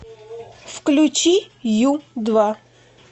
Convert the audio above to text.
включи ю два